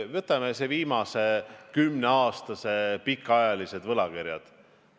Võtame viimase kümne aasta pikaajalised võlakirjad.